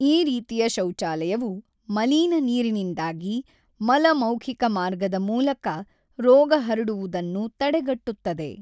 ಈ ರೀತಿಯ ಶೌಚಾಲಯವು ಮಲೀನ ನೀರಿನಿಂದಾಗಿ ಮಲ-ಮೌಖಿಕ ಮಾರ್ಗದ ಮೂಲಕ ರೋಗ ಹರಡುವುದನ್ನು ತಡೆಗಟ್ಟುತ್ತದೆ.